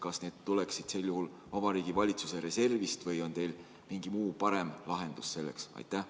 Kas need tuleks sel juhul katta Vabariigi Valitsuse reservist või on teil mingi muu, parem lahendus selleks?